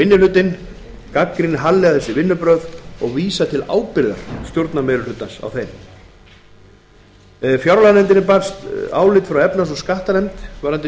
minni hlutinn gagnrýnir harðlega þessi vinnubrögð og vísar til ábyrgðar stjórnarmeirihlutans á þeim fjárlaganefndinni barst álit frá efnahags og